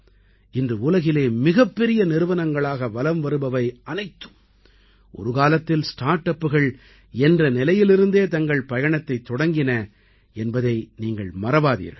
இன்று உலகிலே மிகப்பெரிய நிறுவனங்களாக வலம் வருபவை அனைத்தும் ஒரு காலத்தில் ஸ்டார்ட் அப்புகள் என்ற நிலையிலிருந்தே தங்கள் பயணத்தைத் தொடங்கின என்பதை நீங்கள் மறவாதீர்கள்